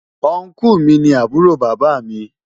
Ọnkú mi ni àbúrò bàbá mi.